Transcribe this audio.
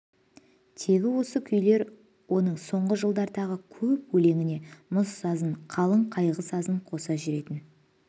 тегі осы күйлер оның соңғы жылдардағы көп өлеңіне мұң-сазын қалың қайғы сазын қоса жүретін